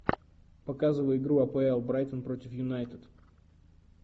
показывай игру апл брайтон против юнайтед